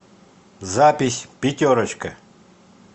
запись пятерочка